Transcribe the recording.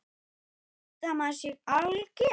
Haldiði að maður sé alger!